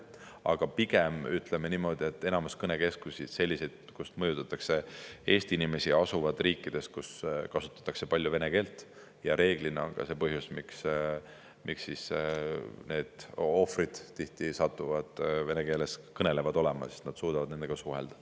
Aga pigem, ütleme niimoodi, enamus neid kõnekeskusi, kust mõjutatakse Eesti inimesi, asub riikides, kus kasutatakse palju vene keelt, ja reeglina on see ka põhjus, miks need ohvrid tihti satuvad olema vene keeles kõnelejad, sest nad suudavad nendega suhelda.